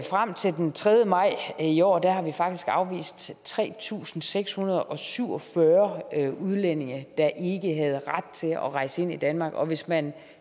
frem til den tredje maj i år har vi faktisk afvist tre tusind seks hundrede og syv og fyrre udlændinge der ikke havde ret til at rejse ind i danmark og hvis man